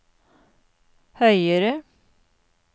høyere